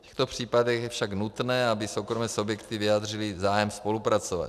V těchto případech je však nutné, aby soukromé subjekty vyjádřily zájem spolupracovat.